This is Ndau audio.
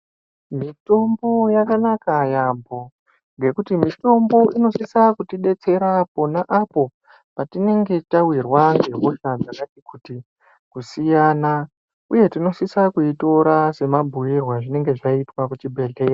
Mitombo yakanaka yambo ngekuti mutombo inosisa kuti detsera pona apo patinenge tawirwa nehosha dzakati kusiyana uye tinosisa kuitora mabhuirwe azvinenge zvaitwa kuchibhedhlera.